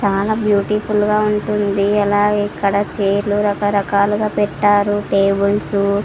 చాలా బ్యూటిఫుల్ గా ఉంటుంది అలాగే ఇక్కడ చైరులు రకరకాలుగా పెట్టారు టేబుల్స్ --